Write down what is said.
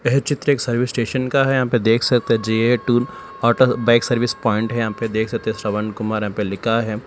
ये चित्र एक सर्विस स्टेशन का है यहाँ पे देख सकते है जे_ए टून ऑटो बाइक सर्विस पॉइंट है यहाँ पे देख सकते हैं श्रवण कुमार यहाँ पे लिखा है।